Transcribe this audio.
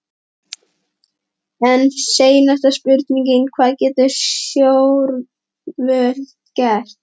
En seinasta spurningin, hvað geta stjórnvöld gert?